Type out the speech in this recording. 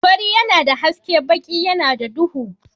Fari yana da haske baki yana da duhu.